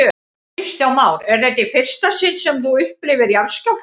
Kristján Már: Er þetta í fyrsta sinn sem þú upplifir jarðskjálfta?